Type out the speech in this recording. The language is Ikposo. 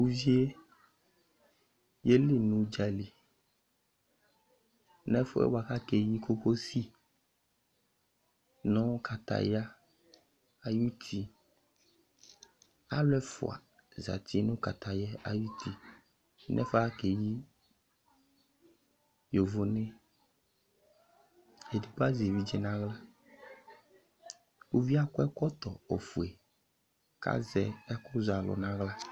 Uvi yɛ yeli nʋ udzali n'ɛfʋɛ bua k'akeyi kokosi nʋ kataya ayuti Alʋ ɛfua zati nʋ kataya yɛ ayuti n'ɛfʋɛ akeyi yovone yɛ, edigbo azɛ evidze n'aɣla Uvi yɛ ak'ɛkɔtɔ ofue k'azɛ ɛkʋz'alʋ n'aɣla